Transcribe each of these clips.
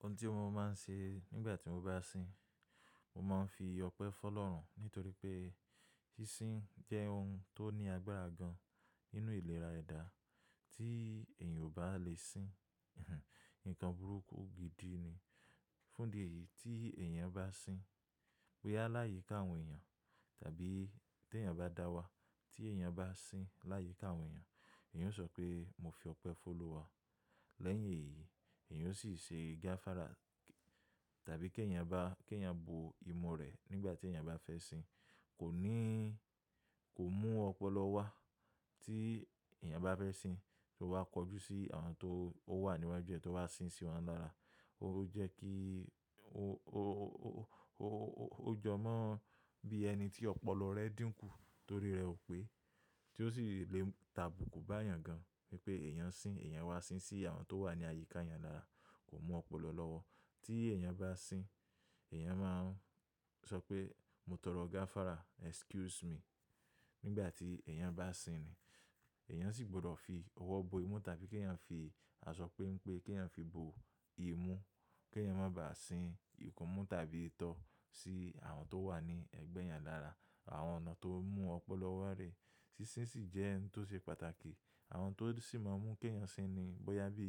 Ohun tí mo máa ń ṣe nígbà tí mo bá sìn, mo máa ń fi ọpẹ́ fọ́ lọ́rùn nítorí pé sísìn jẹ́ ohun tó ní agbára gan nínú ìlera ẹ̀dà tí èèyàn ò bá lè sìn. Nǹkan burúkú gidi ni. Fún ìdí èyí tí èèyàn bá sìn, pé a láyìí káwọn èèyàn tàbí tí èèyàn bá dá wá tí èèyàn bá sìn láyìí káwọn èèyàn, èèyàn ó sọ pé mo fi ọpẹ́ fọ́ lọ́ wá. Lẹ́yìn èyí, èèyàn ó sì ṣe gáfárà tàbí kí èèyàn bá-- kí èèyàn bo imú rẹ̀ nígbà tí èèyàn bá fẹ́ sìn. Kò níí-- kò mú ọpọlọ wá tí èèyàn bá fẹ́ sìn, tó wá kọjú sí àwọn tó ó wà níwájú rẹ̀ tó wá sìn sí wọn lára. Ó jẹ́ kí ó, ó, ó, ó, ó, ó, ó jọ mọ bí ẹni tí ọpọlọ rẹ dìnkù torí rẹ ò pé tí ó sì le tàbùkù bá èèyàn gan. Gẹ́gẹ́ bí èèyàn sìn, èèyàn wá sìn sí àwọn tó wà ní àyíká èèyàn lára kò mú ọpọlọ lọ́wọ́. Tí èèyàn bá sìn, èèyàn máa ń sọ pé mo tọrọ gáfárà, excuse me. Nígbà tí èèyàn bá sìn ni, èèyàn sì gbọdọ̀ fi ọwọ́ bo imú tàbí kí èèyàn fi asọ pé ń pé kí èèyàn fi bo imú, kí èèyàn má bá sìn ìkómú tàbí ìtọ́ sí àwọn tó wà ní ẹ̀gbẹ́ èèyàn lára àwọn ọ̀nà tó mú ọpọlọ wá rẹ̀. Sísìn sì jẹ́ ohun tó ṣe pàtàkì. Àwọn tó sì máa ń mú kí èèyàn sìn ni bóyá bí,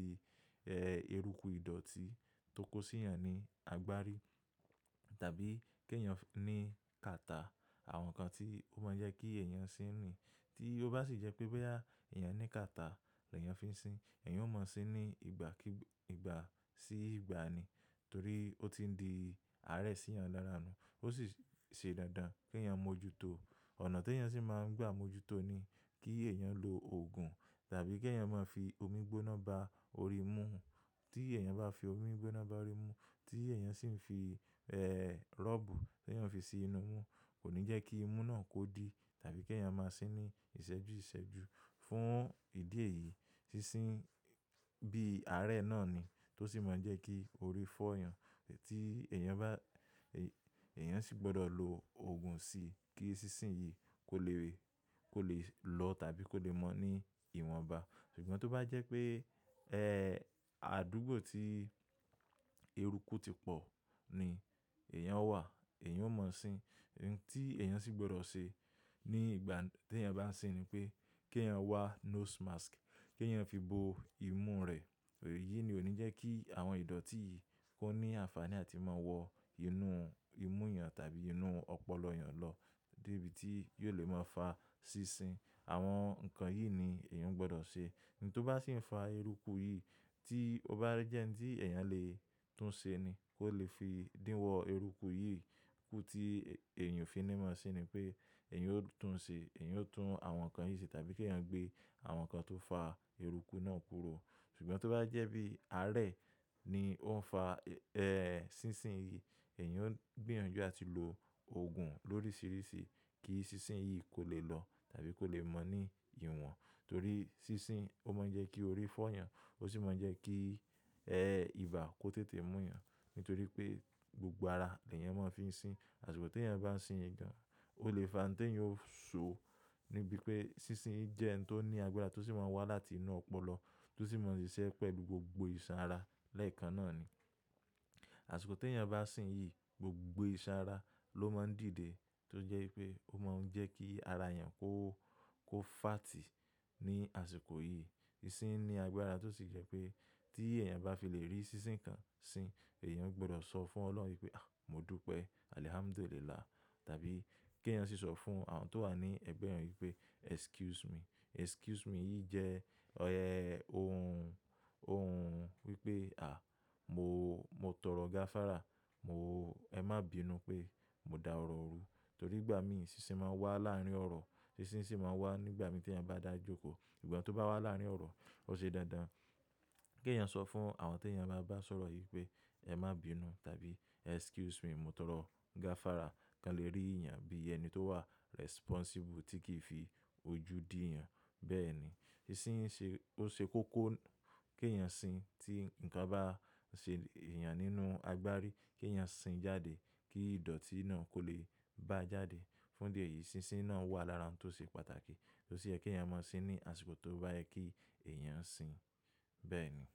ẹ́, eruku ìdọ̀tí tó kó sí èèyàn ní agbárí tàbí kí èèyàn ní kàtà. Àwọn nǹkan tí ó máa ń jẹ́ kí èèyàn sìn ni. Tí ó bá sì jẹ́ pé bóyá èèyàn ní kàtà lọ́ èèyàn fi ń sìn, èèyàn ó mọ sìn ní ìgbà kí-- ìgbà sí ìgbà ni torí ó ti ń di àárẹ̀ sí èèyàn lára ni. Ó sì ṣe dáadáa kí èèyàn mójútó. Ọ̀nà tí èèyàn sì máa ń gbà mójútó ni kí èèyàn lo òògùn tàbí kí èèyàn máa fi omi gbóná ba orí mú. Tí èèyàn bá fi omi gbóná ba orí mú, tí èèyàn sì ń fi, ẹ́, rọ́ọ̀bù tí èèyàn fi sí inú mú, kò ní jẹ́ kí imú náà kó dí tàbí kí èèyàn máa sìn ní ìsẹ́jú ìsẹ́jú. Fún ìdí èyí, sísìn bí àárẹ̀ náà ni tó sì máa ń jẹ́ kí orí fọ́ èèyàn. Tí èèyàn bá-- èèyàn sì gbọdọ̀ lo òògùn sí i kí sísìn yìí kó lè lè, kó lè lọ tàbí kó lè mọ ní ìwọ̀nba. Ṣùgbọ́n tó bá jẹ́ pé, ẹ́, àdúgbò tí eruku ti pò ni èèyàn wà, èèyàn ó mọ sìn. Ohun tí èèyàn sì gbọdọ̀ ṣe ní ìgbà tí èèyàn bá sìn ni pé kí èèyàn wá nose mask, kí èèyàn fi bo imú rẹ̀. Èyí ni ò ní jẹ́ kí àwọn ìdọ̀tí yìí kó ní àǹfàní àti máa wọ inú imú èèyàn tàbí inú ọpọlọ èèyàn lọ dé ibi tí yóò lè máa fa sísìn. Àwọn nǹkan yìí ni èèyàn gbọdọ̀ ṣe. Ohun tó bá sì ń fa eruku yìí tí ó bá rí jẹ́ ẹni tí èèyàn lè tún ṣe ni kó lè fi dín wọ eruku yìí. Ikú tí èèyàn fi ní mọ́ sìn ni pé èèyàn ó tún ṣe, èèyàn ó tún àwọn nǹkan yìí ṣe tàbí kí èèyàn gbé àwọn nǹkan tó fa eruku náà kúrò. Ṣùgbọ́n tó bá jẹ́ bí àárẹ̀ ni ó ń fa, ẹ́, sísìn yìí, èèyàn ó gbéyànjú àti lo òògùn lóríṣiríṣi kí sísìn yìí kó lè lọ tàbí kó lè mọ ní ìwọ̀n torí sísìn ó máa ń jẹ́ kí orí fọ́ èèyàn, ó sì máa ń jẹ́ kí, ẹ́, ibà kó tètè mú èèyàn nítorí pé gbogbo ara ni èèyàn máa ń fi ń sìn. Àṣìkò tí èèyàn bá sìn yìí gan, ó lè fa ohun tí èèyàn ó so níbi pé sísìn jẹ́ ohun tó ní agbára tó sì máa ń wá láti inú ọpọlọ tó sì máa ń ṣiṣẹ́ pẹ̀lú gbogbo ìṣàn ara lẹ́ẹ̀kan náà ni. Àṣìkò tí èèyàn bá sìn yìí, gbogbo ìṣàn ara ló máa ń dìde tó jẹ́ pé ó máa ń jẹ́ kí ara èèyàn kó, kó fààtì ní àsìkò yìí. Sísìn ní agbára tó sì jẹ́ pé tí èèyàn bá fi lè rí sísìn kan sìn, èèyàn gbọdọ̀ sọ fún ọlọ́run pé à, mo dúpẹ́, alhamdulillah tàbí kí èèyàn sì sọ fún àwọn tó wà ní ẹ̀gbẹ́ rẹ̀ pé excuse me. Excuse me yìí jẹ́ ọ̀yẹ́ ohun, ohun wípé à, mo, mo tọrọ gáfárà, mo, ẹ má bínu pé mo da ọ̀rọ̀ rú torí ìgbà mìí sísìn máa ń wá láàárín ọ̀rọ̀. Sísìn sì máa ń wá nígbà tí èèyàn bá dàjókòó. Ìgbà tó bá wá láàárín ọ̀rọ̀, ó ṣe dándán kí èèyàn sọ fún àwọn tí èèyàn bá bá sọ̀rọ̀ yìí pé ẹ má bínu tàbí excuse me, mo tọrọ gáfárà kí wọ́n lè rí èèyàn bí ẹni tó wà responsible tí kì í fi ojú dí èèyàn. Bẹ́ẹ̀ ni, sísìn ṣe, ó ṣe kókó kí èèyàn sìn tí nǹkan bá ṣe èèyàn nínú agbárí, kí èèyàn sìn jáde kí ìdọ̀tí náà kó lè bá jáde. Fún ìdí èyí, sísìn náà wà lára ohun tó ṣe pàtàkì tó sì jẹ́ kí èèyàn mọ sìn ní àsìkò tó bá yẹ kí èèyàn sìn. Bẹ́ẹ̀ ni.